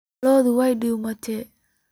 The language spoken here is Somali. Lo'odhi way dumtey.